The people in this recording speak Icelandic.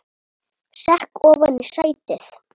Sekk ofan í sætið.